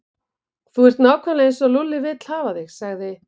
Þú ert nákvæmlega eins og Lúlli vill hafa þig sagði